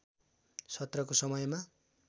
सत्रको समयमा